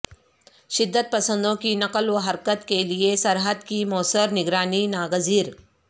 شدت پسندوں کی نقل و حرکت کے لیے سرحد کی موثر نگرانی ناگزیر